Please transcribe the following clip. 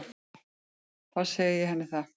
Þá segi ég henni það.